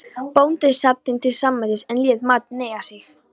Bóndinn sat þeim til samlætis en lét matinn eiga sig.